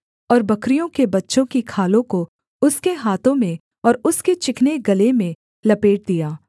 और बकरियों के बच्चों की खालों को उसके हाथों में और उसके चिकने गले में लपेट दिया